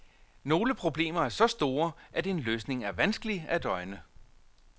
Nogle problemer er så store, at en løsning er vanskelig at øjne.